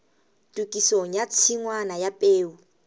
tokisong ya tshingwana ya peo